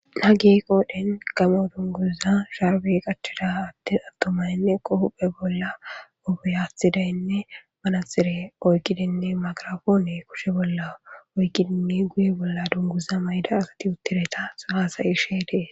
hage qoodhen gamo dunguza sharbe qachida attin attomaninne qohuphe bolla ubiyathidaynne manatxire oyqidinne magarafoone kushe bolla oyqidinni guye bolla dunguza mayida asati uttireta so hasayishee dees.